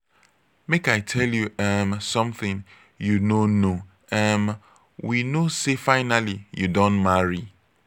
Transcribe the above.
make i tell you um something you no know. um we know say finally you don marry.